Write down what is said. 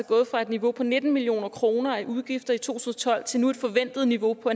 gået fra et niveau på nitten million kroner i udgifter i to tusind og tolv til nu et forventet niveau på